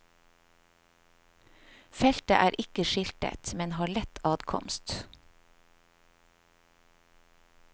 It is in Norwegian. Feltet er ikke skiltet, men har lett adkomst.